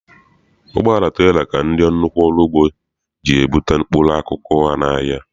Ụgbọala trela ka ndị nnukwu ọrụugbo ji ebute mkpụrụ akụkụ ha n'ahịa.